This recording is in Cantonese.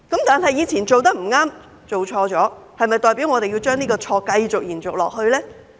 不過，以前做得不對、做錯了，是否代表我們要將這個錯誤延續呢？